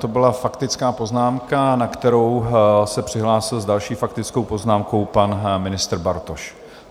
To byla faktická poznámka, na kterou se přihlásil s další faktickou poznámkou pan ministr Bartoš.